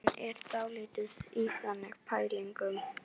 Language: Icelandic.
Hann er dálítið í þannig pælingum.